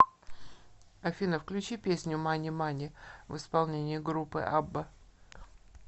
афина включи песню мани мани в исполнении группы абба